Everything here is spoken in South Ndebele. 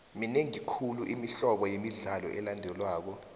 minengi khulu imihlobo yemidlalo elandelwako